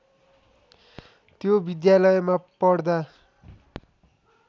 त्यो विद्यालयमा पढ्दा